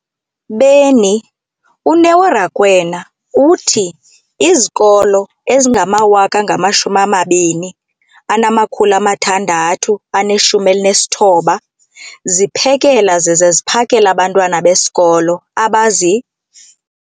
beni, uNeo Rakwena, uthi izikolo ezingama-20 619 ziphekela zize ziphakele abantwana besikolo abazi-